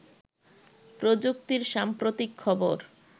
প্রযুক্তির সাম্প্রতিক খবর